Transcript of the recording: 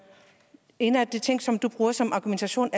en af de ting som du bruger som argumentation